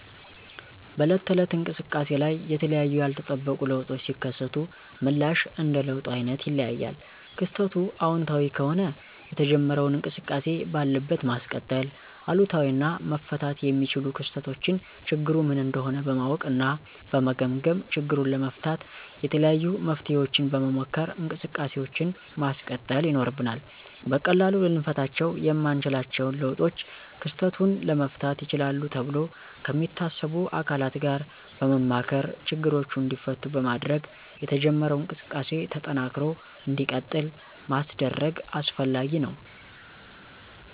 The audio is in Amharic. በዕለት ተዕለት እንቅሰቃሴ ላይ የተለያዩ ያልተጠበቁ ለውጦች ሲከሰቱ ምላሽ እንደ ለውጡ አይነት ይለያያል። ክስተቱ አወንታዊ ከሆነ የተጀመረውን እንቅስቃሴ ባለበት ማስቀጠል፤ አሉታዊ እና መፈታት የሚችሉ ክስተቶችን ችግሩ ምን እንደሆነ በማወቅ እና በመገምገም ችግሩን ለመፍታት የተለያዩ መፍትሔዎችን በመሞከር እንቅሰቃሴውን ማስቀጠል ይኖርብናል። በቀላሉ ልንፈታቸው የማንችለውን ለውጦች ክስተቱን ለመፍታት ይችላሉ ተብሎ ከሚታሰቡ አካላት ጋር በማማከር ችግሮቹ እንዲፈቱ በማድረግ የተጀመረው እንቅስቃሴ ተጠናክሮ እንዲቀጥል ማስደረግ አስፈላጊ ነው።